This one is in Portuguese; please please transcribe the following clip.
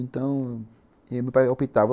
Então, meu pai optava.